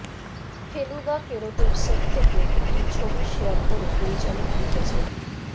ফেলুদা ফেরতের সেট থেকে একটি ছবি শেয়ার করে পরিচালক লিখেছেন